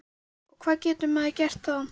Og hvað getur maður gert þá?